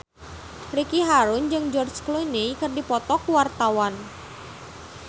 Ricky Harun jeung George Clooney keur dipoto ku wartawan